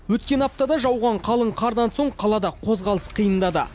өткен аптада жауған қалың қардан соң қалада қозғалыс қиындады